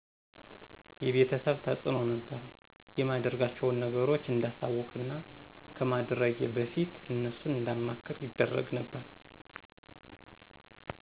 የቤተሰብ ተዕኖ ነበር የማደርጋቸውን ነገሮች እንዳሳወቅና ከማድረጌ በፊት እነሱን እንዳማክር ይደረግ ነበር